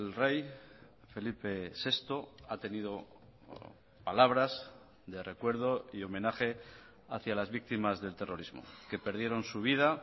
rey felipe sexto ha tenido palabras de recuerdo y homenaje hacia las víctimas del terrorismo que perdieron su vida